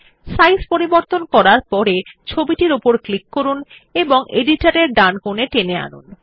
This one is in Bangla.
সাইজ পরিবর্তন করার পড়ে ছবিটির উপর ক্লিক করুন এবং এডিটর এর ডানকোনে টেনে আনুন